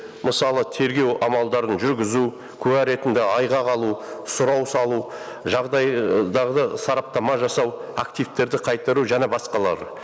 мысалы тергеу амалдарын жүргізу куә ретінде айғақ алу сұрау салу жағдайдағы сараптама жасау активтерді қайтару және басқалары